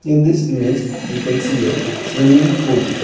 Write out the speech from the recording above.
In this image we can see a swimming pool.